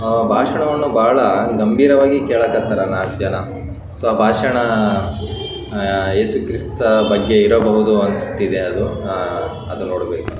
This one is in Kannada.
ಒಬ್ಬ ಪುರುಷ ಕಣ್ಣಿಗೆ ಕನ್ನಡಕ ಹಾಕೊಂಡ್ಡಿದ್ದಾರೆ. ಒಬ್ಬ ಮಹಿಳೆ ಬಿಳಿಯ ಬಣ್ಣದ ಬಟ್ಟೆಯನ್ನು ಧರಿಸಿದ್ದಾರೆ.